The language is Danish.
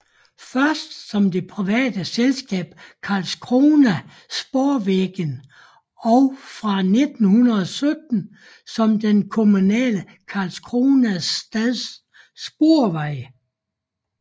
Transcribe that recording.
Først som det private selskab Karlskrona spårvägar og fra 1917 som den kommunale Karlskrona stads sporveje